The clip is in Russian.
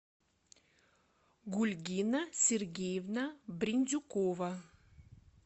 гульгина сергеевна брендюкова